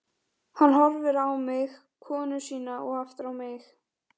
Hann horfir á mig, konu sína og aftur á mig.